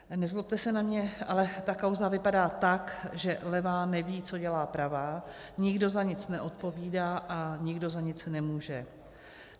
Nezlobte se na mě, ale ta kauza vypadá tak, že levá neví, co dělá pravá, nikdo za nic neodpovídá a nikdo za nic nemůže.